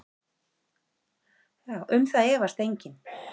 Um það efast enginn.